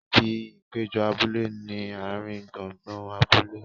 Ibi ìpéjọ abúlé ni ààrin gbùngbùn abúlé.